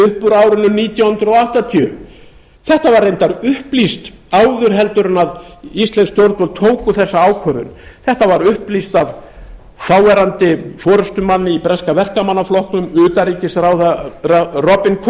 úr árinu nítján hundruð áttatíu þetta var reyndar upplýst áður en íslensk stjórnvöld tóku þessa ákvörðun þetta var upplýst af þáverandi forustumanni í breska verkamannaflokknum utanríkisráðherra robin